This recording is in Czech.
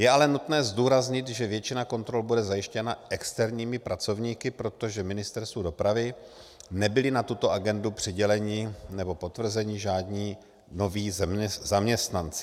Je ale nutné zdůraznit, že většina kontrol bude zajištěna externími pracovníky, protože Ministerstvu dopravy nebyli na tuto agendu přiděleni nebo potvrzeni žádní noví zaměstnanci.